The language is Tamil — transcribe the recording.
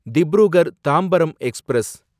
திப்ருகர் தாம்பரம் எக்ஸ்பிரஸ்